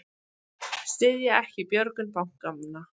Styðja ekki björgun bankanna